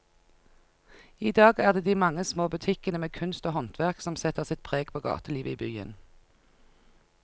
I dag er det de mange små butikkene med kunst og håndverk som setter sitt preg på gatelivet i byen.